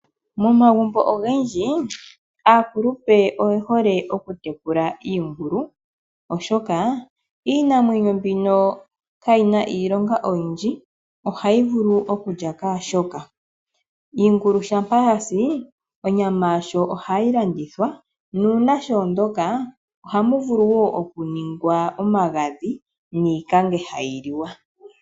Momagumbo ogendji aakulupe oyehole okutekula iingulu oshoka iinamwenyo mbino kayi na iilonga oyindji, ohayi vulu okulya kehe shoka. Iingulu shampa yasi onyama ohayi landithwa nuuna shoondoka ohamu vulu okunigwa omagadhi niikange hayi li wa.